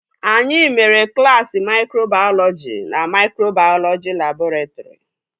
Anyị mere klaasị maikrobayọlọji na maikrobayọlọji labọretrị